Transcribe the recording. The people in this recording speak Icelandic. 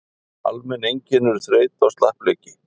almenn einkenni eru þreyta og slappleiki